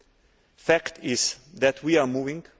The fact is that we are moving.